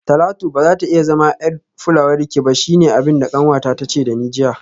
Talatu bazata iya zama yar fulawarki ba shine abinda kanwata tace dani jiya